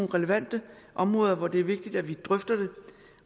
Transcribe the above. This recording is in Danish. relevante områder hvor det er vigtigt at vi drøfter det